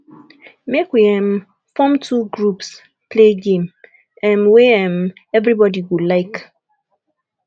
make we um form two groups play game um wey um everybody go like